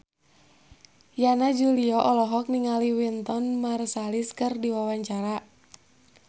Yana Julio olohok ningali Wynton Marsalis keur diwawancara